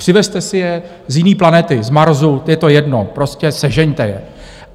Přivezte si je z jiné planety, z Marsu, je to jedno, prostě sežeňte je.